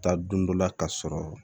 Taa don dɔ la ka sɔrɔ